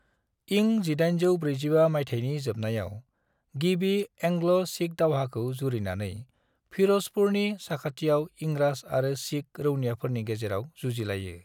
इं 1845 माइथायनि जोबनायाव, गिबि आंग्ल-सिख दावहाखौ जुरिनानै, फिरोजपुरनि साखाथियाव इंराज आरो सिख रौनोयाफोरनि गेजेराव जुजिलायो।